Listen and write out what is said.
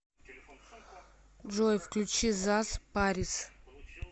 джой включи заз парис